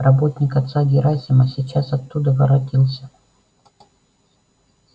работник отца герасима сейчас оттуда воротился